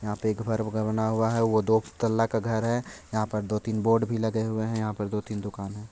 यहाँ पर एक घर बना हुआ है| वो दो तल्ला का घर है| यहाँ पर दो -तीन बोर्ड भी लगे हुए हैं| यहाँ पर दो-तीन दुकाने हैं।